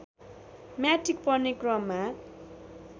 matric पढ्ने क्रममा